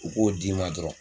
U k'o d'i ma dɔrɔn.